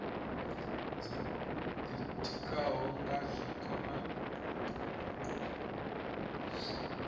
dzo ditikaho nga zwiko na